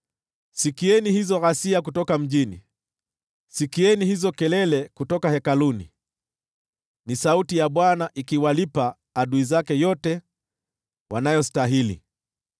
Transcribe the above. Sikieni hizo ghasia kutoka mjini, sikieni hizo kelele kutoka hekaluni! Ni sauti ya Bwana ikiwalipa adui zake yote wanayostahili.